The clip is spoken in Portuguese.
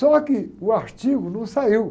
Só que o artigo não saiu.